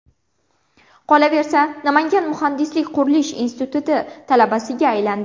Qolaversa, Namangan muhandislik-qurilish instituti talabasiga aylandi.